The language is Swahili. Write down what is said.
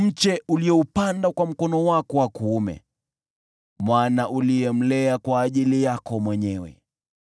mche ulioupanda kwa mkono wako wa kuume, mwana uliyemlea kwa ajili yako mwenyewe.